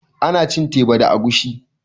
Ana cin teba da agushi